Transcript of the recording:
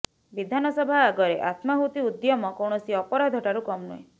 ବିଧାନସଭା ଆଗରେ ଆତ୍ମାହୁତି ଉଦ୍ୟମ କୌଣସି ଅପରାଧ ଠାରୁ କମ୍ ନୁହେଁ